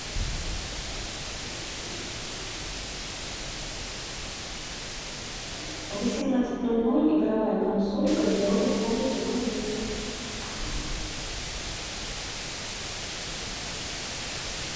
в восемнадцать ноль ноль игровая консоль в гардеробной комнате вруби